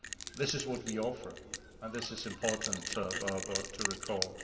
This is what we offer, and this is important to recall.